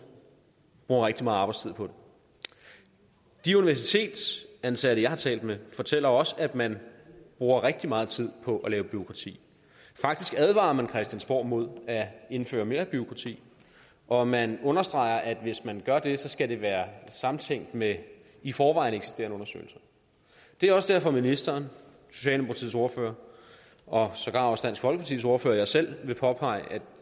bruger rigtig meget arbejdstid på det de universitetsansatte jeg har talt med fortæller os at man bruger rigtig meget tid på bureaukrati faktisk advarer man christiansborg imod at indføre mere bureaukrati og man understreger at hvis man gør det skal det være samtænkt med i forvejen eksisterende undersøgelser det er også derfor at ministeren socialdemokratiets ordfører og sågar også dansk folkepartis ordfører og jeg selv vil påpege at